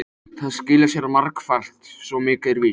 Það skilar sér margfalt, svo mikið er víst.